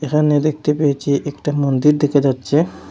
এখানে দেখতে পেয়েছি একটা মন্দির দেখা যাচ্ছে।